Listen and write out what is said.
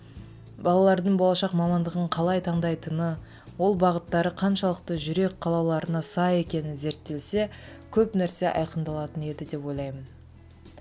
балалардың болашақ мамандығын қалай таңдайтыны ол бағыттары қаншалықты жүрек қалауларына сай екені зерттелсе көп нәрсе айқындалатын еді деп ойлаймын